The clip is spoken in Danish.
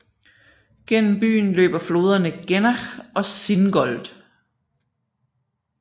Gennem byen løber floderne Gennach og Singold